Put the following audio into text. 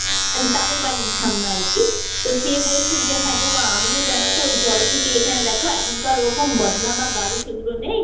মানে তাদের বাড়ির ঠাম্মা আর কি। তো সে বলছে যে, হ্যাঁ গো মা আমিও জানতো ওই জল থেকে এখানে দেখ এখন তো আর ওই রকম বদনা বা গারু সেগুলো নেই,